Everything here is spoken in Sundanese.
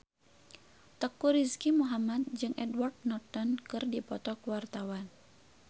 Teuku Rizky Muhammad jeung Edward Norton keur dipoto ku wartawan